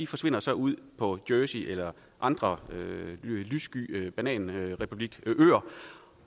forsvinder så ud på jersey eller andre lyssky bananrepublikøer